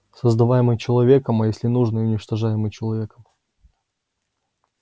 создаваемый человеком а если нужно и уничтожаемый человеком